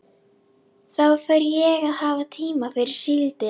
Þá fer ég að hafa tíma fyrir síldina.